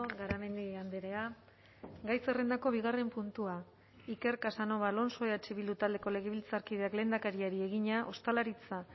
garamendi andrea gai zerrendako bigarren puntua iker casanova alonso eh bildu taldeko legebiltzarkideak lehendakariari egina ostalaritza